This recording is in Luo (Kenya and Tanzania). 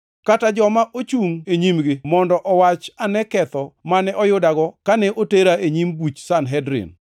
kata joma ochungʼ e nyimgi mondo owach ane ketho mane oyudago kane otera e nyim buch Sanhedrin,